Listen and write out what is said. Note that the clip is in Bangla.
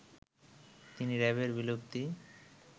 তিনি র‍্যাবের বিলুপ্তি